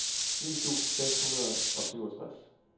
ni tusind seks hundrede og syvogtres